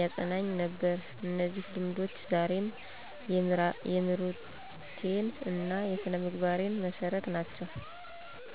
ያጸናኝ ነበር። እነዚህ ልምዶች ዛሬም የምሮቴን እና የስነምግባሬን መሠረት ናቸው።